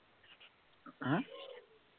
হা